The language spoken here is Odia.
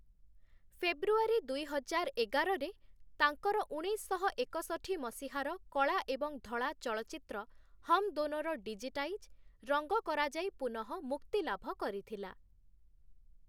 ଫେବୃଆରୀ ଦୁଇହଜାର ଏଗାରରେ, ତାଙ୍କର ଉଣେଇଶଶହ ଏକଷଠି ମସିହାର କଳା ଏବଂ ଧଳା ଚଳଚ୍ଚିତ୍ର 'ହମ୍ ଦୋନୋ'ର ଡିଜିଟାଇଜ୍, ରଙ୍ଗ କରାଯାଇ ପୁନଃ ମୁକ୍ତିଲାଭ କରିଥିଲା ।